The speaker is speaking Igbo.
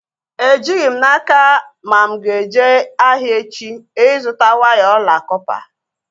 Ejighị m n'aka ma mụ aga-eje ahịa echi ịzụta waya ọla kọpa